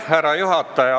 Härra juhataja!